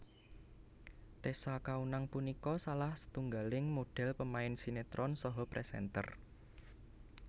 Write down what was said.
Tessa Kaunang punika salah setunggaling modhél pemain sinetron saha presenter